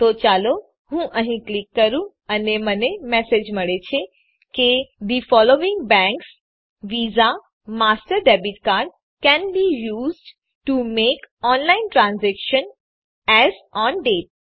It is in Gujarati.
તો ચાલો હું અહીં ક્લિક કરું અને મને મેસેજ મળે છે કે the following banks Visa Master debit cards can be used to make online transaction as on date